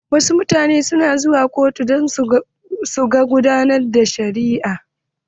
Wasu mutanen na zuwa kotun don su gan yadda ake gudanar da shari'a.